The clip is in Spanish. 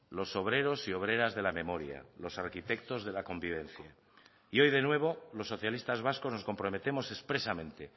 los obreros y obreras de la memoria los arquitectos de la convivencia y hoy de nuevo los socialistas vascos nos comprometemos expresamente